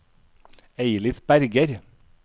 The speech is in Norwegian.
Eilif Berger